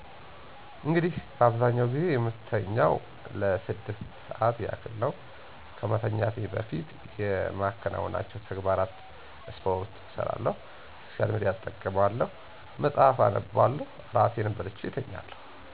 እንግዲህ በአብዛኛው ጊዜ የምተኛው ለስድስት ሠዐት ያክል ነው ከመተኛቴ በፌት የማከናውናቸው ተግባራት ስፖርት እሰራለሁ፣ ሶሻል ሚድያ እጠቀማለሁ፣ መፅሐፍ አነባለሁ፣ እራቴን በልቼ እተኛለሁ።